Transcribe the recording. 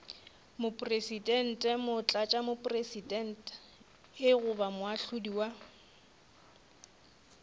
mopresidente motlatšamopresidente goba moahlodi wa